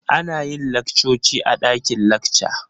Ana yin laccoci a dakin lacca.